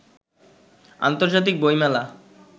আন্তর্জাতিক বইমেলা